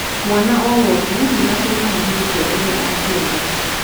Mwana o wothe nĩ atuĩkaga mũrutwo ũrĩa angĩenda.